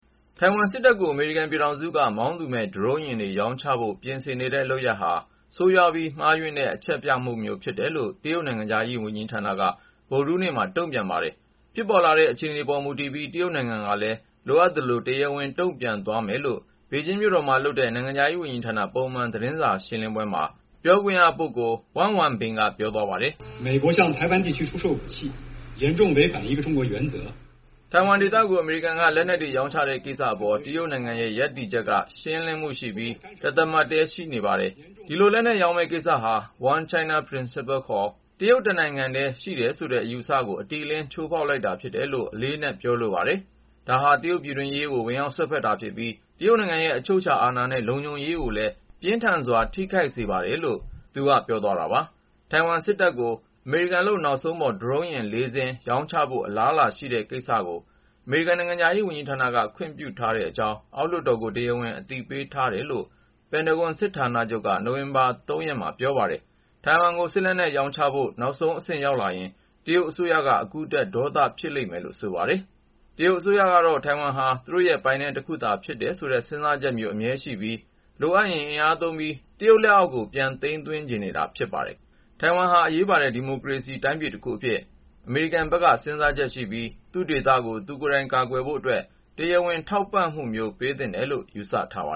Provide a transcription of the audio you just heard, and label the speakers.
Speaker 1: ထိုင်ဝမ်စစ်တပ်ကို အမေရိကန် ပြည်ထောင်စုက မောင်းသူမဲ့ ဒရုန်းယာဉ်တွေ ရောင်းချဖို့ ပြင်ဆင်နေတဲ့ လုပ်ရပ်ဟာ ဆိုးရွားပြီး မှားယွင်းတဲ့ အချက်ပြမှုမျိုး ဖြစ်တယ်လို့ တရုတ်နိုင်ငံခြားရေး ဝန်ကြီးဌာနက ဗုဒ္ဓဟူးနေ့က တုန့်ပြန်လိုက် ပါတယ်။ ဖြစ်ပေါ်လာတဲ့ အခြေအနေပေါ်မူတည်ပြီး တရုတ်နိုင်ငံကလည်း လိုအပ်သလို တရားဝင် တုန့်ပြန်သ ွားမယ်လို့ ဘေဂျင်းမြို့တော်မှာ လုပ်တဲ့ နိုင်ငံခြားရေးဝန်ကြီးဌာန ပုံမှန် သတင်းစာရှင်းပွဲမှာ နိုင်ငံခြားရေးဌာန ပြောခွင့်ရ Wang Wenbin က ပြော သွားတာပါ။ "ထိုင်ဝမ်ဒေသကို အမေရိကန်က လက်နက်တွေ ရောင်းချတဲ့ ကိစ္စအပေါ် တရုတ်နိုင်ငံရဲ့ ရပ်တည်ချက်က ရှင်းလင်းမှုရှိပြီး တသမတ်တည်းရှိနေပါတယ်။ ဒီလို လက်နက်ရောင်းမယ့်ကိစ္စဟာ One China Principle ခေါ် တရုတ်တနိုင်ငံထဲ ရှိတယ်ဆိုတဲ့ အယူအဆကို အတိအလင်းချိုးဖေါက်လိုက်တာ ဖြစ်တယ်လို့ အလေးအနက် ပြောလိုပါတယ်။ ဒါဟာ တရုတ်ပြည်တွင်းရေး ဝင်ရောက်စွက်ဖက်ပြီး တရုတ်နိုင်ငံရဲ့ အချုပ်အခြာအာဏာနဲ့ လုံခြုံရေးကို ပြင်းထန်စ ွာ ထိခိုက်စေပါတယ်။".. လို့ Wang Wenbin က ပြောသွားတာပါ။ ထိုင်ဝမ်စစ်တပ်ကို အမေရိကန်လုပ် နောက်ဆုံးခေတ်ပေါ် ဒရုန်းယာဉ် ၄ စင်း - ရောင်းချဖို့ အလားအလာရှိတဲ့ ကိစ္စကို အမေရိကန်နိုင်ငံခြားရေးဌာနက ခွင့်ပြုထားတဲ့အကြောင်း အောက်လွှတ်တော်ကို တရားဝင် အသိပေးထားတယ်လို့ ပင်တဂွန်စစ်ဌာနချုပ်က နိုဝင်ဘာ ၃ ရက် အင်္ဂါနေ့က ပြောပါတယ်။ ထိုင်ဝမ်ကို စစ်လက်နက် ရောင်းချဖို့ နောက်ဆုံးအဆင့် ရောက်လာရင် တရုတ်အစိုးရက အခုထက် ဒေါသ ဖြစ်လိမ့်မယ်လို့ ဆိုပါတယ်။ တရုတ်အစိုးရကတော့ ထိုင်ဝမ်ဟာ သူတို့ရဲ့ပိုင်နက် တခုသာ ဖြစ်တယ်ဆိုတဲ့ စဉ်းစားချက်မျိုး အမြဲရှိပြီး လိုအပ်ရင် အင်အားသုံးပြီး တရုတ်လက်အောက်ကို ပြန်သိမ်းသွင်းချင်နေတာပါ။ ထိုင်ဝမ်ဟာ အရေးပါတဲ့ ဒီမိုကရေစီ တိုင်းပြည်တခုအဖြစ် အမေရိကန်ဘက်က စဉ်းစားချက်ရှိပြီး သူ့ဒေသကို သူကိုယ်တိုင် ကာကွယ်ရေးအတွက် တရားဝင် ထောက်ပံ့မှုမျိုး ပေးသင့်တယ်လို့ ယူဆထားပါ